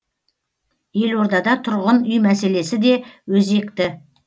елордада тұрғын үй мәселесі де өзекті